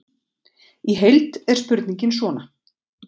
Í heild er spurningin svona: